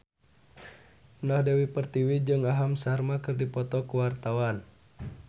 Indah Dewi Pertiwi jeung Aham Sharma keur dipoto ku wartawan